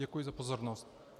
Děkuji za pozornost.